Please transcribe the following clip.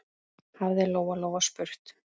hafði Lóa-Lóa spurt.